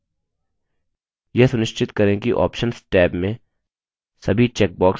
यह सुनिश्चित करें कि options टैब में सभी चेकबॉक्स अनचेक हैं